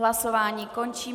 Hlasování končím.